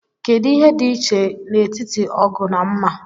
Kedu ihe dị iche n'etiti ógù na mmà?